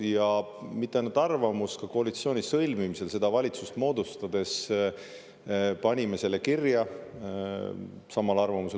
Ja mitte ainult arvamus, ka koalitsiooni sõlmimisel, seda valitsust moodustades, panime selle kirja.